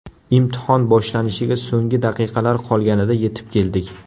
Imtihon boshlanishiga so‘nggi daqiqalar qolganida yetib keldik.